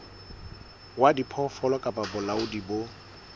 wa diphoofolo kapa bolaodi bo